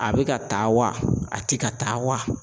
A bɛ ka taa wa a ti ka taa wa?